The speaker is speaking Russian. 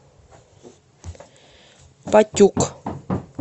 патюк